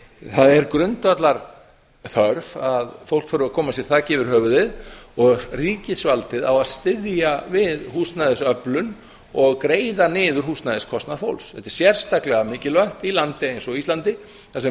það er grundvallarþörf að fólk þurfi að koma sér þaki yfir höfuðið og ríkisvaldið á að styðja við húsnæðisöflun og greiða niður húsnæðiskostnað fólks þetta er sérstaklega mikilvægt í landi eins og íslandi þar sem